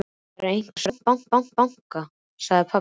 Það er einhver að banka, sagði pabbi.